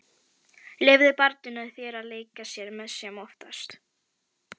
Leyfðu barninu í þér að leika sér sem oftast.